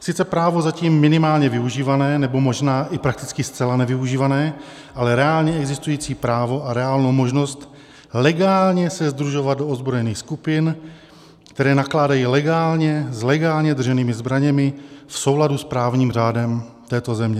Sice právo zatím minimálně využívané, nebo možná i prakticky zcela nevyužívané, ale reálně existující právo a reálnou možnost legálně se sdružovat do ozbrojených skupin, které nakládají legálně s legálně drženými zbraněmi v souladu s právním řádem této země.